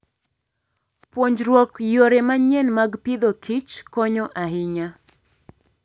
Puonjruok yore manyien mag Agriculture and Foodkonyo ahinya.